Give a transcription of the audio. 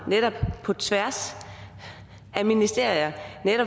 på tværs af ministerier